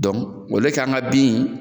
Dɔnki an ka bin